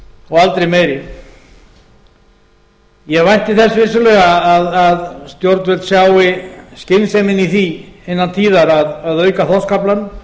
og aldrei meiri ég vænti þess vissulega að stjórnvöld sjái skynsemina í því innan tíðar að auka þorskaflann